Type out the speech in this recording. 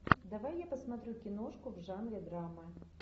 давай я посмотрю киношку в жанре драма